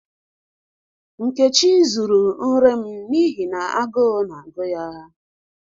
Nkechi zuru nri m n'ihi na agu na-agu ya.